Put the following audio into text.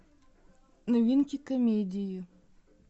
новинки комедии